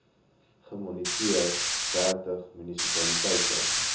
gemoniteer dertig munisipaliteite